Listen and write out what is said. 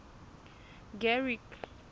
garrick